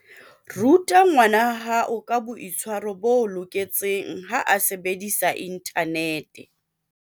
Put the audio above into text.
Ruta ngwanahao ka boitshwaro bo loketseng ha a sebedisa inthanete.